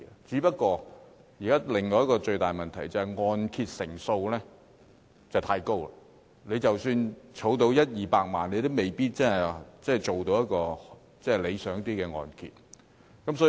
可是，現時另一個最大的問題，就是按揭成數太高，即使儲蓄到一二百萬元，也未必可以申請到較理想的按揭。